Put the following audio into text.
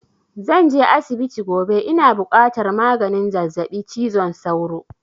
Zan je asibiti gobe, ina buƙatar maganin zazzaɓi cizon sauro